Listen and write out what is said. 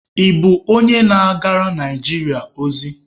Ị bụ onye na-agara Naijiria ozi?